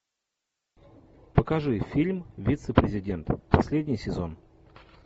покажи фильм вице президент последний сезон